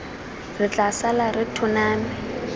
re tla sala re tlhoname